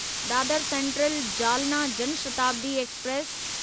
Dadar central Jalna Jan Shatabdi express